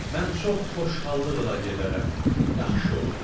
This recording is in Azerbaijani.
Mən çox xoşhallıqla gedərəm, yaxşı olar.